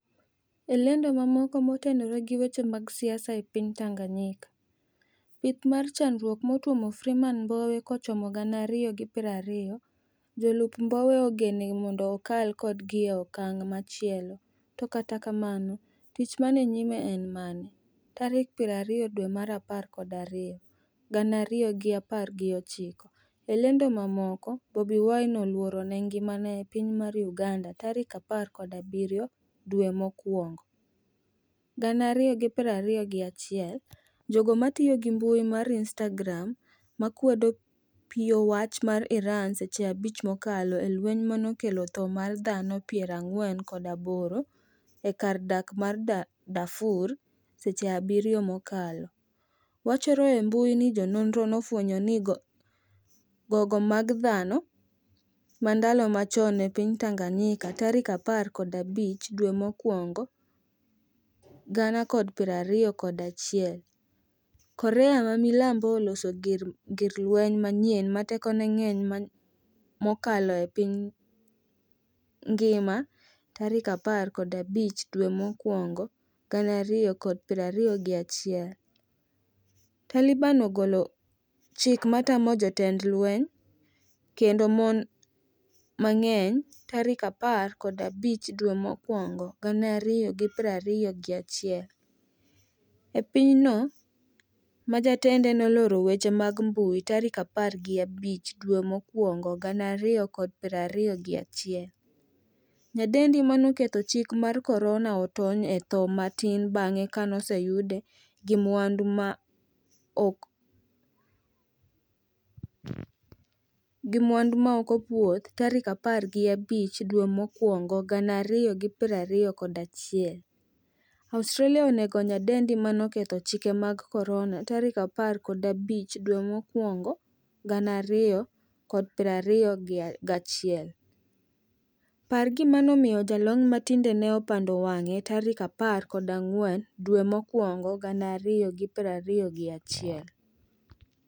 e lendo mamoko motenore gi weche mag siasa e piny tanganyika: pith mar chandruok matuomo Freeman mbowe kochomo gana ariyo gi pero ariyo, jolup Mbowe ogene mondo okal kodgi e okang' machielo, to katakamno tich man e nyime en mane? Tarik piero ariyo dwe mar apar kod ariyo, gana ariyo gi apar gi ochiko. e lendo mamoko Bobi wine oluor ne ngimane e piny mar Uganda tarik apar kod abirio dwe mokuongo, gana ariyo gi piero ariyo gi achiel. jogo matiyo gi mbui mar Instagram makwedo piy-owacho ma Iran seche abich mokalo e lweny manokelo tho mar dhano piero ang'wen kod aboro e kar dak mar Darfur seche abirio mokalo, wachore e mbui ni jo nonro nofwenyo ni gogo mag dhano ma ndalo machon e piny Tanganyika tarik apar kod abich dwe mokuongo gana kod piero ariyo kod achiel. korea ma milambo oloso gir lweny manyien ma tekone ng'eny mokalo e piny ngima tarik apar kod abich dwe mokuongo gana airiyo kod piero ariyo gi achiel. Taliban ogolo chik matamo jotend lweny kendo mon mang'eny tarik apar kod abich dwe mokuongo gana ariyo gi piero ariyo gi achiel. e piny no majatende noloro weche mag mbui tarik apar gi abich dwe mokuongo gana ariyo kod piero ariyo gi achiel. Nyadendi manoketho chik mar korona otony e tho matin bang'e kanoseyude gi mwandu ma ok opuodh tarik apar gi abich dwe mokuongo gana ariyo gi piero ariyo kod achiel. Australia onego nyadendi manoketho chike mag korona tarik apar kod abich dwe mokuongo gana ariyo kod piero ariyo gachiel. par gimanomiyo jalony matinende opando wang'e tarik apar ko ang'wen dwe mokuongo gana ariyo gi piero ariyo gi achiel